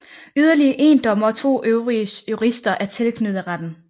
Yderligere 1 dommer og 2 øvrige jurister er tilknyttet retten